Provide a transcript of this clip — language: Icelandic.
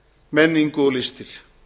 menningu og listir